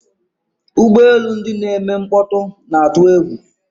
Ụgbọ elu ndị na-eme mkpọtụ na-atụ egwu.